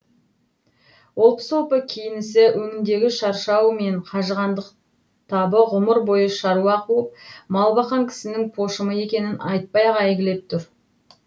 олпы солпы киінісі өңіндегі шаршау мен қажығандық табы ғұмыр бойы шаруа қуып мал баққан кісінің пошымы екенін айтпай ақ әйгілеп тұр